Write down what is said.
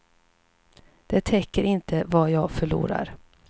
Det täcker inte vad jag förlorar.